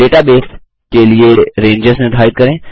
database के लिए ranges निर्धारित करें